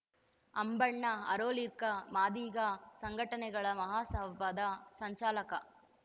ಅಂಬಣ್ಣ ಅರೋಲಿಕ ಮಾದಿಗ ಸಂಘಟನೆಗಳ ಮಹಾಸಭಾದ ಸಂಚಾಲಕ